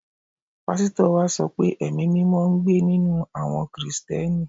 Pásítọ̀ wa sọ pé Ẹ̀mí-mímọ ń gbé ninú àwọ Kìrìsìtíẹ́nì